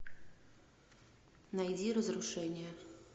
найди разрушение